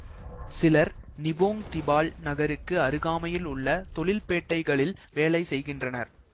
சிலர் Nibong Tebal நகருக்கு அருகாமையில் உள்ள தொழில்பேட்டைகளில் வேலை செய்கின்றனர்